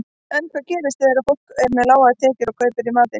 En hvað gerist þegar fólk með lágar tekjur kaupir í matinn?